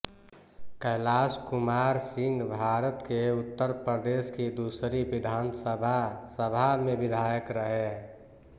कैलाश कुमार सिंहभारत के उत्तर प्रदेश की दूसरी विधानसभा सभा में विधायक रहे